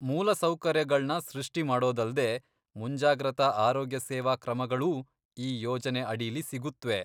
ಮೂಲಸೌಕರ್ಯಗಳ್ನ ಸೃಷ್ಟಿಮಾಡೋದಲ್ದೇ, ಮುಂಜಾಗ್ರತಾ ಆರೋಗ್ಯಸೇವಾ ಕ್ರಮಗಳೂ ಈ ಯೋಜನೆ ಅಡೀಲಿ ಸಿಗುತ್ವೆ.